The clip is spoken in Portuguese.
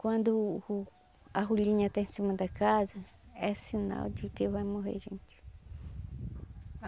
Quando a rolinha está em cima da casa, é sinal de que vai morrer gente.